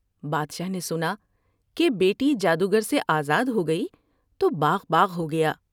بادشاہ نے سنا کہ بیٹی جادوگر سے آزاد ہو گئی تو بانغ بانغ ہو گیا ۔